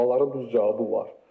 Sualların düz cavabı var.